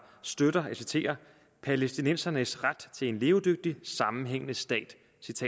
støtter palæstinensernes ret til en levedygtig sammenhængende stat